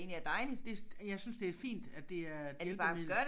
Det jeg synes det er fint at det er et hjælpemiddel